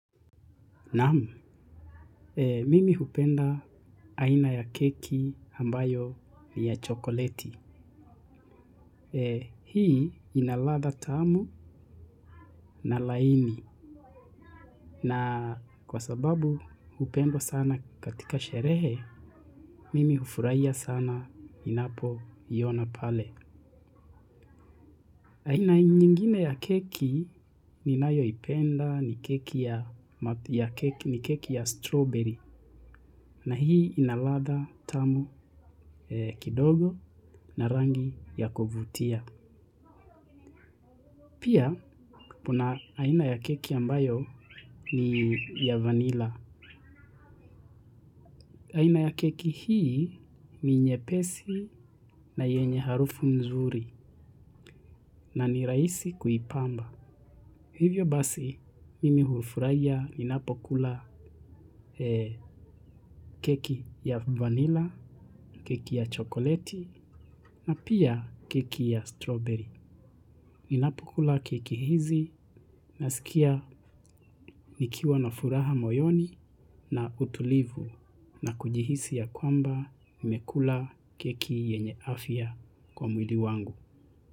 Naam, mimi hupenda aina ya keki ambayo ni ya chokoleti. Hii ina ladha tamu na laini. Na kwa sababu hupendwa sana katika sherehe, mimi hufurahia sana ninapo iona pale. Aina nyingine ya keki ni nayo ipenda ni keki ya strawberry. Na hii inaladha tamu kidogo na rangi ya kuvutia. Pia kuna aina ya keki ambayo ni ya vanilla. Aina ya keki hii ni nyepesi na yenye harufu mzuri na ni rahisi kuipamba. Hivyo basi mimi hufuraia ninapokula keki ya vanilla, keki ya chokoleti na pia keki ya strawberry. Ninapokula keki hizi nasikia nikiwa na furaha moyoni na utulivu na kujihisi ya kwamba nimekula keki yenye afya kwa mwili wangu.